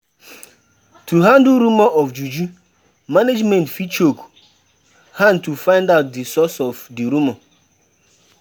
To handle rumour of juju, management fit chook hand to find out di source of di rumour